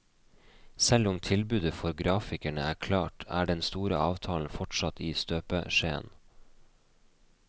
Selv om tilbudet for grafikerne er klart, er den store avtalen fortsatt i støpeskjeen.